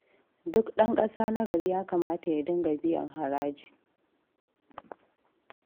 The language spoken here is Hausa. Duk ɗan ƙasa na gari ya kamata ya dinga biyan haraji.